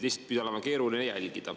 Pidi olema keeruline jälgida.